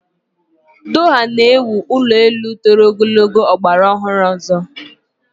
Doha na ewu ụlọelu toro ogologo ọgbara ọhụrụ ọzọ.